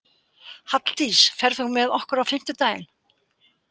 Halldís, ferð þú með okkur á fimmtudaginn?